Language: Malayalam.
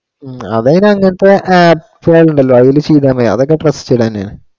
ഉം അവരുടെ അന്നത്തെ ആ ഉണ്ടല്ലോ അതില് ചെയ്താ മതി അതൊക്കെ trusted തന്നെയാ